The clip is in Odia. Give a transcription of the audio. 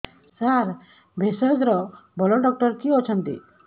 ସାର ଭେଷଜର ଭଲ ଡକ୍ଟର କିଏ ଅଛନ୍ତି